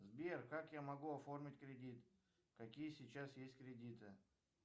сбер как я могу оформить кредит какие сейчас есть кредиты